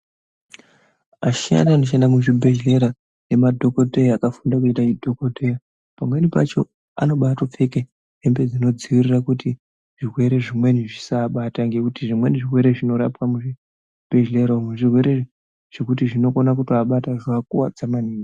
Vashandi vanoshanda muzvibhedhlera namadhokodheya vakafunde chidhokodheya pamweni pacho anobaipfeke hembe dzinodzivirira kuti zvirwere zvimweni zvisavabata ngekuti zvimweni zvirwere zvinorapwe muzvibhedhlera zvirwere zvekuti zvikavabata zvinovakuvadza maningi.